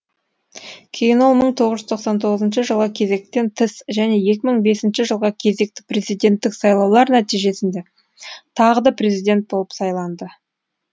кейін ол мың тоғыз жүз тоқсан тоғызыншы жылғы кезектен тыс және екі мың бесінші жылғы кезекті президенттік сайлаулар нәтижесінде тағы да президент болып сайланды